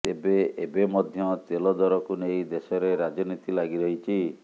ତେବେ ଏବେ ମଧ୍ୟ ତେଲ ଦରକୁ ନେଇ ଦେଶରେ ରାଜନୀତି ଲାଗି ରହିଛି